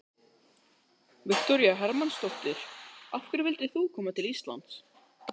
Viktoría Hermannsdóttir: Af hverju vildir þú koma til Íslands?